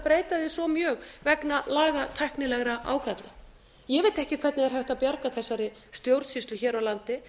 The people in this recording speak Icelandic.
breyta því svo mjög vegna lagatæknilegra ágalla ég veit ekki hvernig er hægt að bjarga þessari stjórnsýslu hér á landi